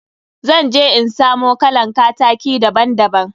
Zan je in samo kalan kataki daban daban.